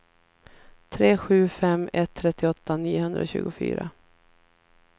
tre sju fem ett trettioåtta niohundratjugofyra